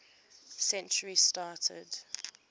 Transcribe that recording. century started